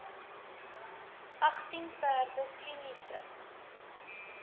agtien perde kliniese